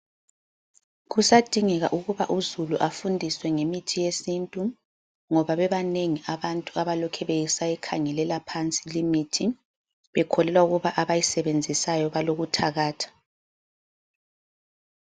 Kusadingeka ukuba uzulu afundiswe ngemithi yesintu, ngoba bebanengi abantu abalokhe besayikhangelela phansi limithi, bekholelwa ukuba abayisebenzisayo balokuthakatha.